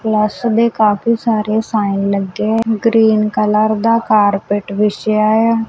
Plus ਦੇ ਕਾਫੀ ਸਾਰੇ ਸਾਈਨ ਲੱਗੇ ਗਰੀਨ ਕਲਰ ਦਾ ਕਾਰਪਟ ਵਿਛਿਆ ਆ।